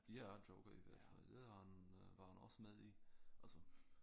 Ja Joker i hvert fald det har han var han også med i altså